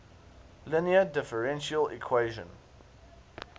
linear differential equation